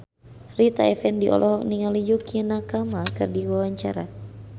Rita Effendy olohok ningali Yukie Nakama keur diwawancara